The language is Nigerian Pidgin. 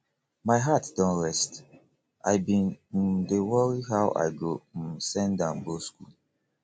my heart don rest i bin um dey worry how i go um send am go school